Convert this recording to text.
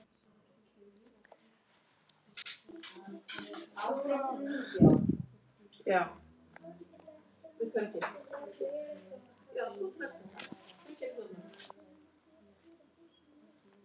Enda talið líklegt að Skapta væri alveg sama hvað tímanum liði.